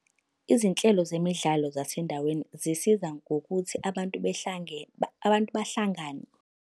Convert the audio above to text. Izinhlelo zemidlalo zasendaweni zisiza ngokuthi abantu behlangene, abantu bahlangane.